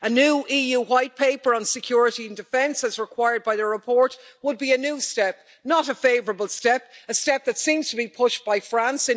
A new EU white paper on security and defence, as required by the report, would be a new step, not a favourable step, a step that seems to be pushed by France.